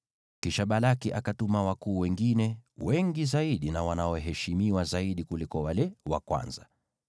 Kisha Balaki akatuma wakuu wengine, wengi zaidi na wanaoheshimiwa zaidi kuliko wale wa kwanza.